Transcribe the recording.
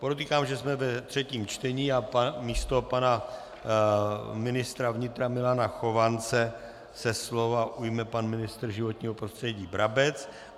Podotýkám, že jsme ve třetím čtení a místo pana ministra vnitra Milana Chovance se slova ujme pan ministr životního prostředí Brabec.